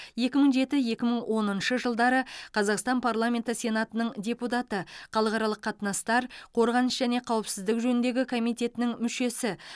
екі мың жеті екі мың оныншы жылдары қазақстан парламенті сенатының депутаты халықаралық қатынастар қорғаныс және қауіпсіздік жөніндегі комитетінің мүшесі